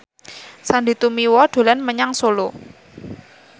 Sandy Tumiwa dolan menyang Solo